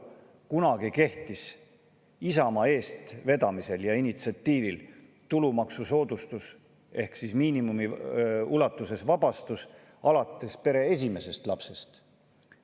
Kunagi kehtis Isamaa eestvedamisel ja initsiatiivil tulumaksusoodustus ehk miinimumi ulatuses vabastus alates pere esimesest lapsest.